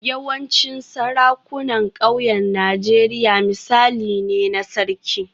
Yawancin sarakunan ƙauyen Najeriya misali ne na Sarki